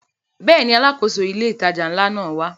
Bẹ́ẹ̀ni, Alákóso ilé ìtajà ńlá náà wá